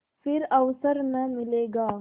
फिर अवसर न मिलेगा